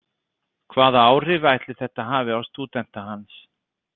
Hvaða áhrif ætli þetta hafi á stúdenta hans?